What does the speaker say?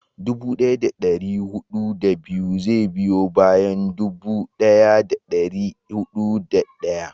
dubu daya da dari hudu da biyu zai biyo bayan dubu daya da dari hudu da daya